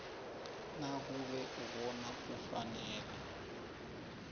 nakube ibona kufanele